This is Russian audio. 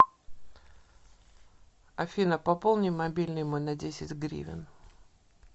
афина пополни мобильный мой на десять гривен